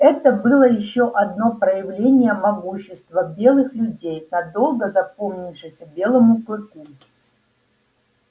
это было ещё одно проявление могущества белых людей надолго запомнившееся белому клыку